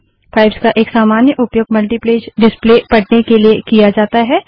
pipes का एक सामान्य उपयोग मल्टीपेज डिस्प्ले प्रदर्शन पढ़ने के लिए किया जाता है